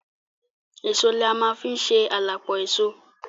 Èso la ma fi ń ṣe à la pọ èso.